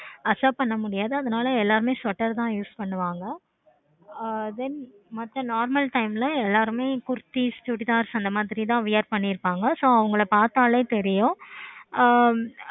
accept பண்ண முடியாது எல்லாருமே sweater தான் use பண்ணுவாங்க. ஆஹ் then மத்த normal time ல saree, chudithaar அந்த மாதிரி தான் wear பண்ணிருப்பாங்க. so அவங்கள பார்த்தாலே தெரியும்.